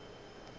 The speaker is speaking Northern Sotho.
ge e le gore ka